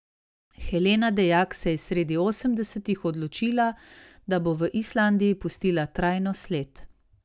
Helena Dejak se je sredi osemdesetih odločila, da bo v Islandiji pustila trajno sled.